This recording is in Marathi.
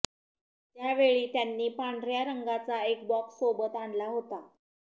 त्याकेळी त्यांनी पांढऱ्या रंगाचा एक बॉक्स सोबत आणला होता